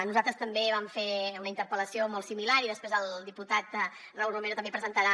nosaltres també vam fer una interpel·lació molt similar i després el diputat raúl romero també presentarà